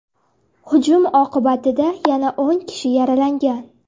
Hujum oqibatida yana o‘n kishi yaralangan.